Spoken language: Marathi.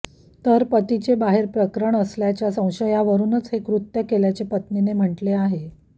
तर पतीचे बाहेर प्रकरण असल्याच्या संशयावरूनच हे कृत्य केल्याचे पत्नीने म्हटले आहे